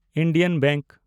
Indian bank